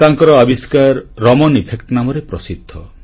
ତାଙ୍କର ଆବିଷ୍କାର ରମଣ ଇଫେକ୍ଟ ନାମରେ ପ୍ରସିଦ୍ଧ